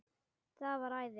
Það væri æði